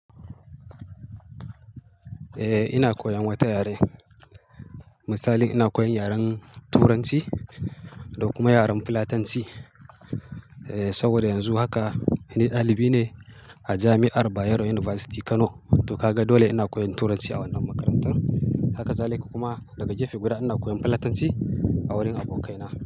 Eh ina koyan wata yare. Misali ina koyan yaren Turanci, da kuma yaren Fulatanci. Eh, saboda yanzu haka ni dalibi ne, a jami'ar Bayero University Kano. To ka ga dole ina koyan Turanci a wannan makarantar. Haka zalika kuma, daga gefe guda, ina koyan Fulatanci a wurin abokaina.